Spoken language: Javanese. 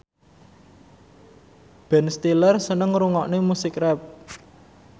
Ben Stiller seneng ngrungokne musik rap